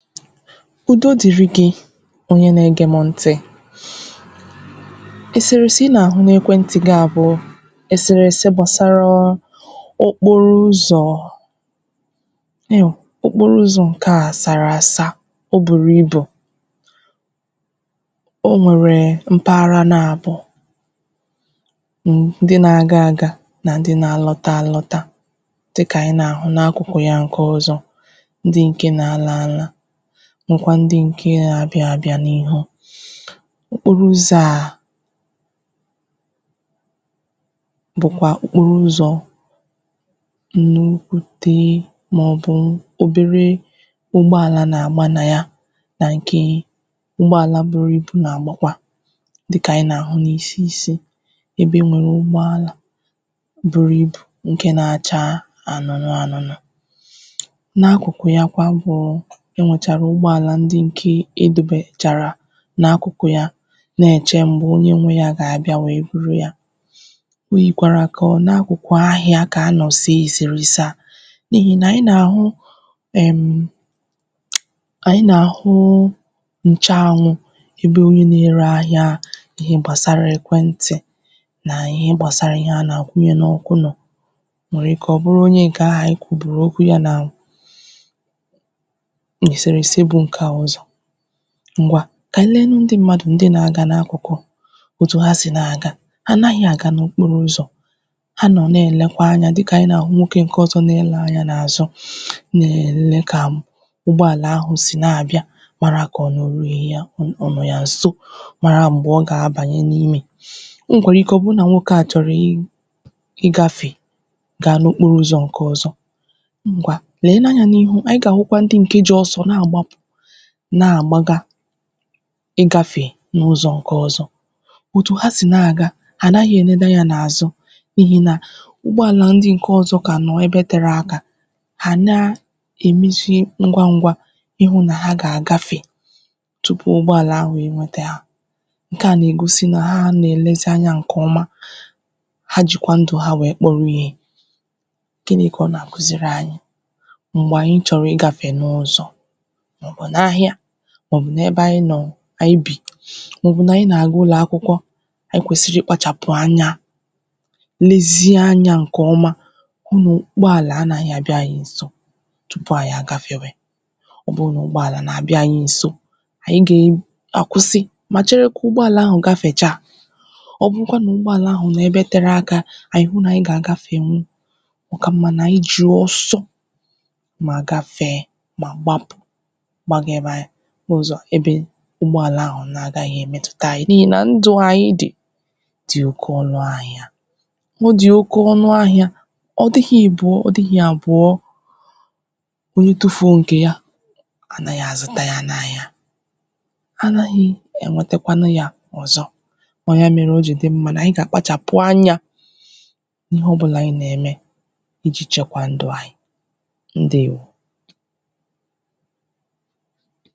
Udo dịrị̀ gị̀ onye na-ege m ntị̀ eserese ị na-ahụ̀ n’ekwentị̀ gị à bụ̀ eserese gbasaraa okporo ụzọ̀ nịhụ̀ okporo ụzọ̀ nke à saraasà o buru ibù o nwere mparaghara naabọ̀ m ndị na-aga agà na ndị̀ na alọtà alotà dịkà anyị̀ na-ahụ̀ n’akụkụ̀ ya nke ọzọ̀ ndị nke na alanlà makwà ndị̀ nke na-abịà abịà n’ihu okporo ụzọ̀ à bụkwà okporo ụzọ̀ unu wutee maọ̀bụ̀ oberee ụgbọalà n’agbà na yà na nkee ụgbọalà n’agbà buru ibu n’agbakwà dịkà anyị̀ na-ahụ̀ n’isi isi ebe enwewre ụgbọalà buru ibù nke na-achaa anụnụ anụnụ̀ n’akụkụ̀ yakwà bụụ enwecharà ụgbọalà ndị nkee ịdụbè charà n’akụkụ̀ yà na-eche mgbe onye nwe ya ga-abịà buru yà o yirikwà ka ọ n’akụkụ̀ ahịà ka a nọ̀ sē eserese à n’ihi nà anyị̀ na-ahụ ehmm anyị̀ na-ahụụ nche anwụ̀ ebe onye na-ere ahịà n’ihe gbasara e kwentị̀ na ihe gbasara ihe a na-akwunye n’ọkụ nọ̀ o nwere ike ọ bụrụ̀ onye nke ahụ̀ anyị̀ kwuburu okwu yà na n’eserese bu nke à ụzọ̀ ngwa ka anyị̀ leenù ndị̀ mmadụ̀ ndị̀ na-aga n’akụkụ̀ otù ha sì na-agà ha anaghị̀ aga n’okporo ụzọ̀ ha nọna-elekwà anya dịkà anyị̀ na-ahụ̀ nwoke nke ọzọ̀ na-ele anya n’azụ̀ na-ele ka m ụgbọalà ahụ̀ sì na-abịà marà ka ọ nọ way yà ọ, ọ nọ̀ yà nso marà mgbe ọ ga-abanyè n’imè o nwekwara ike ọ bụ na nwoke à chọrọ̀ i i ị gafe ga n’okoro ụzọ̀ nke ọzọ̀ ngwa leenu anya n’ihu, anyị̀ ga-ahụkwà ndị̀ nke ji ọsọ̀ na-agbapù na-agbagà ị gafee n’ụzọ̀ nke ọzọ̀ ọtù ha sin a-agà ha anaghị̀ enede anya n’azụ̀ n’ihi nà ụgbọalà ndị̀ nke ọzọ̀ ka nọ ebe tere akà ha naa emesie ngwa ngwà ịhụ̀ na ha ga-agafe tupu ụgbọalà ahụ enwetà hà nke à na-egosì na ha na-elezì anya nke ọmà ha jikwà ndụ̀ ha wee kpọrọ̀ ihe gịnị̀ ka ọ na-akuziri anyị̀? Mgbe anyị̀ chọrọ̀ i gafe n’ụzọ̀ maọ̀bụ̀ n’ahịà maọ̀bụ̀ n’ebe anyị̀ nọ̀ anyị̀ bì maọ̀bụ̀ na anyị̀ na-aga ụlọakwụkwọ̀ anyị̀ kwesiri ịkpachapụ̀ anya lezie anya nke ọmà unu ụgbọalà anaghị̀ abịà anyị̀ nsọ̀ tupu anyị agafewe ọ bụ n’ụgbọalà na-abịà anyị̀ nsò anyị̀ gee akwụsị ma chere ụgbọalà ahụ̀ gafechà ọ bụrụkwanụ̀ na ụgbọalà ahụ nọ ebe tere akà anyị̀ hụ na anyị ga-aga enwù ọ ka mma na anyị ji ọsọ̀ ma gafee ma gbapụ̀ gbaga ebe n’ụzọ à ebe e ụgbọalà ahụ na-agaghị̀ emetù ka anyị̀ niine na ndụ̀ anyị̀ dị̀ dị oke ọnụ̀ ahịà ọ dị̀ oke ọnụ̀ ahịa ọ dịghị̀ ịbụọ, ọdịghị̀ abụọ̀ onye tufuo nke yà anaghị̀ azụtà yà n’ahịà anaghii enwetekwenu yà ọzọ̀ ọ yà mere o ji dị mma na anyị̀ ga-akpachapụ̀ anya n’ihe ọbụlà anyị̀ na-eme iji chekwà ndụ̀ anyị̀. Ndewo!